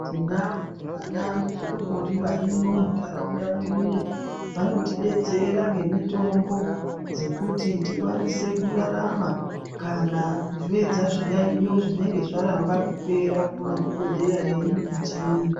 Tinavo vana godo bori varimwo muntaraunda mwedumo. Vanotibetsera nemitombo dzekuti tikwanise kurarama. Kana kupedza zviyaiyo zvinenge zvaramba kupera kumadhogodheya edu echiyungu.